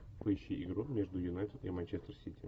поищи игру между юнайтед и манчестер сити